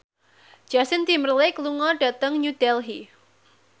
Justin Timberlake lunga dhateng New Delhi